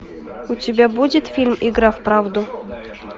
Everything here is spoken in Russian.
у тебя будет фильм игра в правду